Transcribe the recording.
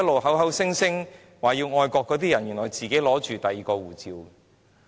口口聲聲表示愛國的人，原來都持有外國護照。